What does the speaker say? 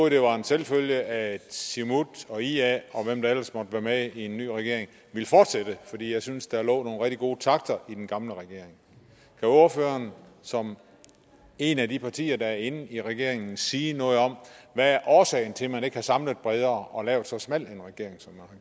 at det var en selvfølge at siumut og ia og hvem der ellers måtte være med i en ny regering ville fortsætte fordi jeg synes at der lå nogle rigtig gode takter i den gamle regering kan ordføreren som et af de partier der er inde i regeringen sige noget om hvad årsagen er til at man ikke har samlet bredere og har lavet så smal en regering som